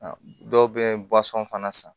Dɔw bɛ fana san